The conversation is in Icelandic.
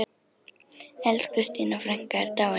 Elsku Stína frænka er dáin.